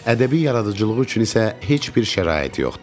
Ədəbi yaradıcılığı üçün isə heç bir şərait yoxdur.